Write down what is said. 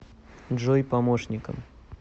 джой помощником